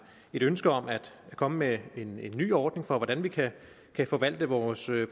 ønske om at komme med en ny ordning for hvordan vi kan kan forvalte vores